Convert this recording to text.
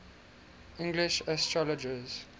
english astrologers